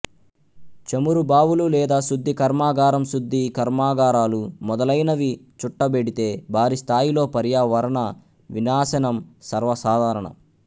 చమురు బావులు లేదా శుద్ధి కర్మాగారంశుద్ధి కర్మాగారాలు మొదలైనవి చుట్టబెడితే భారీ స్థాయిలో పర్యావరణ వినాశనం సర్వసాధారణం